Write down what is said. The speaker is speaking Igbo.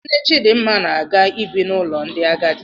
Nne Chidmma na-aga ibi n'ụlọ ndị agadi.